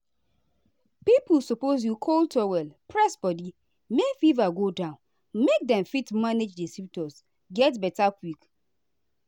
pipo suppose use cold towel press body make fever go down make dem fit manage di symptoms get beta quick.